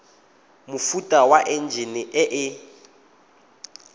mofuta wa enjine e e